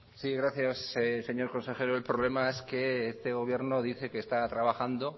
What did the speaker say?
sí gracias señor consejero el problema es que este gobierno dice que está trabajando